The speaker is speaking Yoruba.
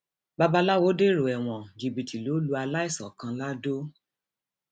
babaláwo dèrò ẹwọn jìbìtì ló lu aláìsàn kan lado